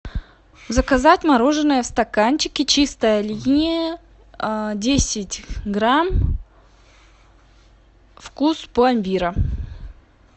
заказать мороженое в стаканчике чистая линия десять грамм вкус пломбира